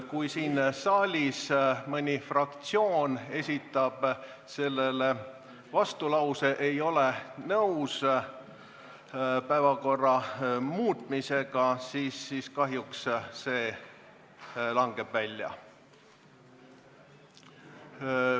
Kui siin saalis mõni fraktsioon esitab vastulause, et nad ei ole nõus päevakorra muutmisega, siis kahjuks langeb see ettepanek välja.